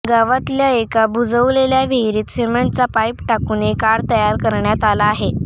गावातल्या एका बुजवलेल्या विहिरीत सिमेंटचा पाईप टाकून एक आड तयार करण्यात आला आहे